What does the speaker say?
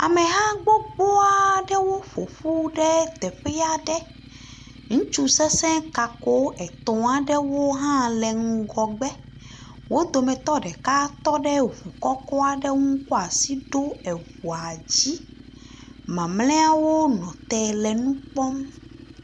Ameha gbogbo aɖewo ƒo ƒu ɖe teƒe aɖe. Ŋutsu sesẽ kako etɔ̃ aɖewo hã le ŋgɔgbe. Wo dometɔ ɖeka tɔ ɖe ŋu kɔkɔ aɖe ŋu kɔ asi ɖo eŋua dzi. Mamlɛawo nɔ te le nu kpɔm.